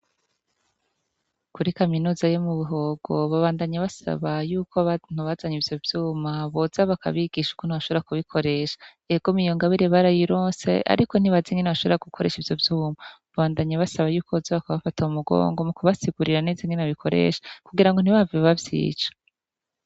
Kuri kaminuza yo mu buhogo, babandanye basaba y'uko abantu bazanye ivyo vyuma boza bakabigisha ukuntu bashobora kubikoresha. Egome iyongabire barayironse ariko ntibazi ingene bashobora gukoresha ivyo vyuma. Babandanye basaba yuko boza kubabafa mu mugongo mu kubasigurira neza ingene babikoresha kugira ngo ntibahave bavyica.